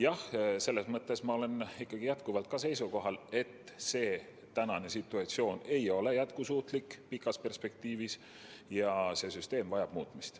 Jah, selles mõttes ma olen jätkuvalt seisukohal, et tänane situatsioon ei ole pikas perspektiivis jätkusuutlik ja see süsteem vajab muutmist.